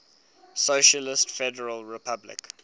socialist federal republic